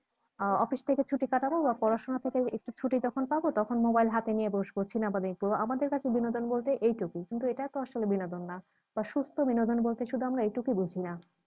আহ office থেকে ছুটি কাটাব বা পড়াশোনা থেকে একটু ছুটি যখন পাবো তখন mobile হাতে নিয়ে বসবো cinema দেখব আমাদের কাছে বিনোদন বলতে এইটুকু কিন্তু এটা তো আসলে বিনোদন না বা সুস্থ বিনোদন বলতে শুধূ আমরা এইটুকু বুঝিনা